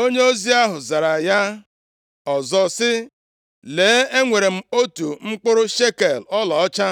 Onyeozi ahụ zara ya ọzọ sị, “Lee, enwere m otu mkpụrụ shekel ọlaọcha.